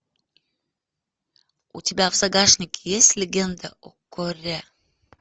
у тебя в загашнике есть легенда о корре